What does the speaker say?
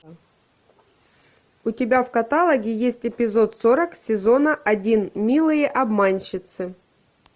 у тебя в каталоге есть эпизод сорок сезона один милые обманщицы